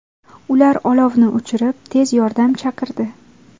Ular olovni o‘chirib, tez yordam chaqirdi.